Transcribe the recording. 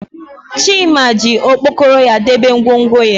Chima ji okpokoro ya debe ngwongwo ya